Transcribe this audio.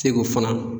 Segu fana